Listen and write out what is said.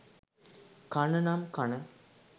කන නම් කන